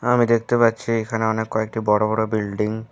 আমি দেখতে পাচ্ছি এখানে অনেক কয়েকটি বড়ো বড়ো বিল্ডিং ।